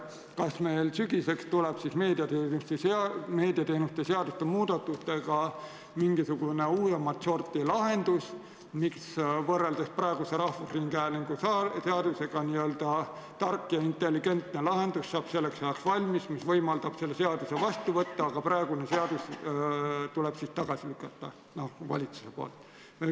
Kas sügiseks tuleb meediateenuste seaduste muudatustega mingisugune uuemat sorti lahendus, võrreldes praeguse Eesti Rahvusringhäälingu seadusega, kas n-ö tark ja intelligentne lahendus saab selleks ajaks valmis, mis võimaldab selle seaduse vastu võtta, aga praegune seadus tuleb valitsusel tagasi lükata?